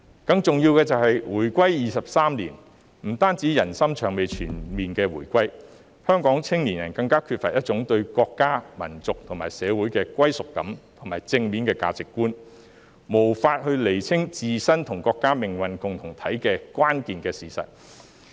更重要的是，回歸23年，不單人心尚未全面回歸，香港青年人更缺乏對國家、民族和社會的歸屬感和正面的價值觀，無法釐清自身與國家是命運共同體的關鍵事實。